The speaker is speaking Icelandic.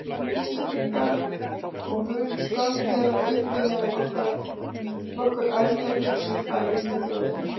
Íslendinga, og mun skömm þeirra uppi meðan nokkur ærleg hugsun bærist með þjóðinni.